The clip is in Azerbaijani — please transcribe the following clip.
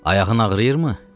Ayağın ağrıyırmı?